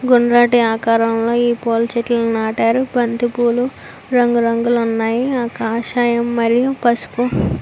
గుండ్రటి ఆకారం లో ఈ పూల చెట్టులు నాటారు. బంతిపుల్లు రంగు రంగు లో వున్నాయ్. కాషాయం మరియు పసుపు --